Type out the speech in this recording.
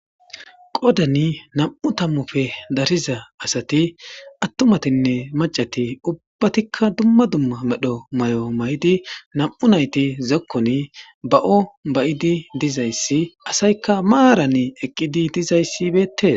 Qoddani nam'u tammuppe darriza asati attumatinne macati ubbatikka dumma dumma medho mayi'o mayi'idi nam'u nayti zokkoni ba'o bayi'idi dizayssi asaykka maaran eqqidi dizayssi beettes